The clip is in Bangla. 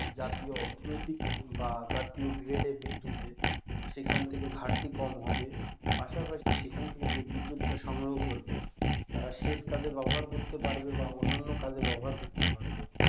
জাতীয় অর্থনৈতিক কিংবা জাতীয় grade এর বিদ্যুতের সেখান থেকে ঘাটতি কম হবে পাশাপাশি সেখান থেকে যে বিদ্যুতটা সংগ্রহ করবে তারা সেচ কাজে ব্যবহার করতে পারবে বা অন্যান্য কাজে ব্যবহার করতে পারবে,